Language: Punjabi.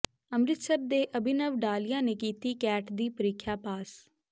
ਅੰਮਿ੍ਤਸਰ ਦੇ ਅਭਿਨਵ ਡਾਲੀਆ ਨੇ ਕੀਤੀ ਕੈਟ ਦੀ ਪ੍ਰੀਖਿਆ ਪਾਸ